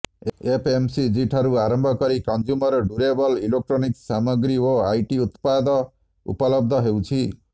ଏଫ୍ଏମ୍ସିଜିଠାରୁ ଆରମ୍ଭ କରି consumer durable electronics ସାମଗ୍ରୀ ଓ ଆଇଟି ଉତ୍ପାଦ ଉପଲବ୍ଧ ହେଉଛି